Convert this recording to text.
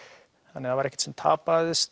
þannig það var ekkert sem tapaðist